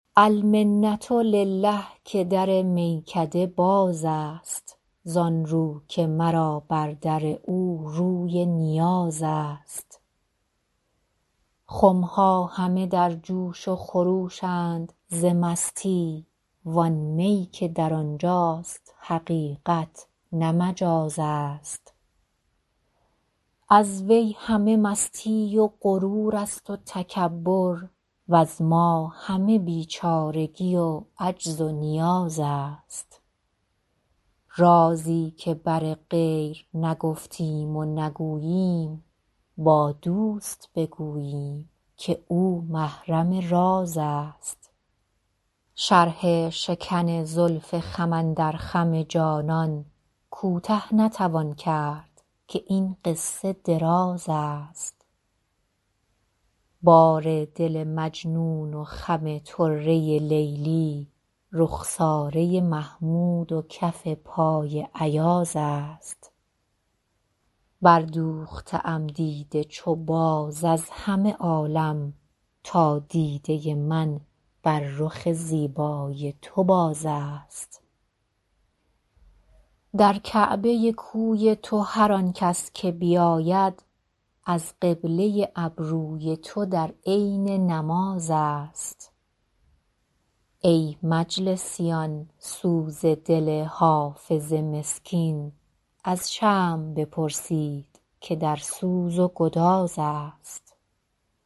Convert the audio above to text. المنة لله که در میکده باز است زان رو که مرا بر در او روی نیاز است خم ها همه در جوش و خروش اند ز مستی وان می که در آن جاست حقیقت نه مجاز است از وی همه مستی و غرور است و تکبر وز ما همه بیچارگی و عجز و نیاز است رازی که بر غیر نگفتیم و نگوییم با دوست بگوییم که او محرم راز است شرح شکن زلف خم اندر خم جانان کوته نتوان کرد که این قصه دراز است بار دل مجنون و خم طره لیلی رخساره محمود و کف پای ایاز است بردوخته ام دیده چو باز از همه عالم تا دیده من بر رخ زیبای تو باز است در کعبه کوی تو هر آن کس که بیاید از قبله ابروی تو در عین نماز است ای مجلسیان سوز دل حافظ مسکین از شمع بپرسید که در سوز و گداز است